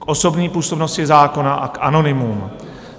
K osobní působnosti zákona a k anonymům.